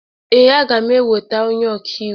Ee, aga m enweta onye ọkaiwu.